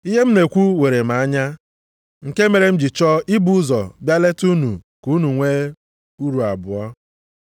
Ihe m na-ekwu were m anya, nke mere m ji chọọ ibu ụzọ bịa leta unu ka unu nwee uru abụọ.